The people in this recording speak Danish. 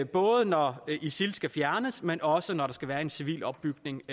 både når isil skal fjernes men også når der skal være en civil opbygning